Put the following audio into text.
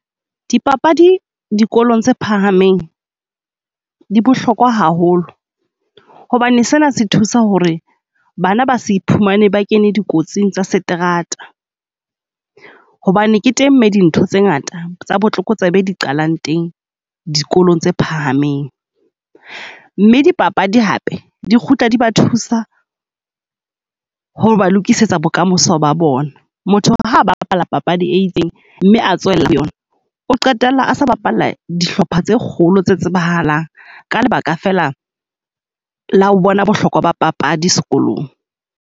Dipapadi dikolong tse phahameng di bohlokwa haholo hobane sena se thusa ho re, bana ba se iphumane ba kene dikotsing tsa seterata. Hobane ke teng, me dintho tse ngata tsa botlokotsebe di qalang teng dikolong tse phahameng. Mme dipapadi hape di kgutla di ba thusa ho ba lokisetsa bokamoso ba bona. Motho ha ba bapala papadi e itseng, mme a tsohella yona, o qetella asa bapalla dihlopha tse kgolo tse tsebahalang ka lebaka fela la ho bona bohlokwa ba papadi sekolong.